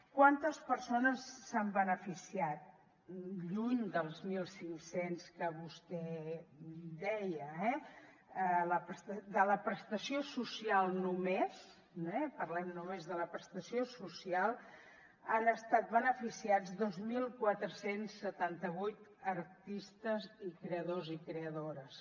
quantes persones se n’han beneficiat lluny dels mil cinc cents que vostè deia eh de la prestació social només parlem només de la prestació social han estat beneficiats dos mil quatre cents i setanta vuit artistes i creadors i creadores